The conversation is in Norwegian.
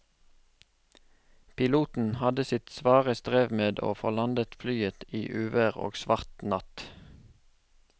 Piloten hadde sitt svare strev med å få landet flyet i uvær og svart natt.